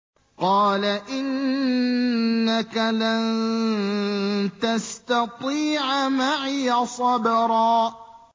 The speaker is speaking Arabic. قَالَ إِنَّكَ لَن تَسْتَطِيعَ مَعِيَ صَبْرًا